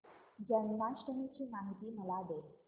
जन्माष्टमी ची माहिती मला दे